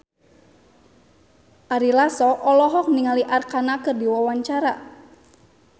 Ari Lasso olohok ningali Arkarna keur diwawancara